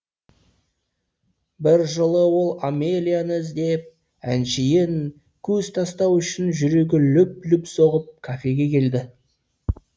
бір жолы ол амелияны іздеп әншейін көз тастау үшін жүрегі лүп лүп соғып кафеге келді